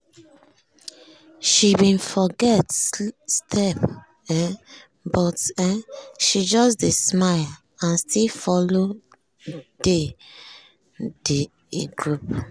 she bin forget some step um but um she just dey smile and still follow dey um de group.